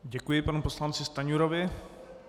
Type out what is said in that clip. Děkuji panu poslanci Stanjurovi.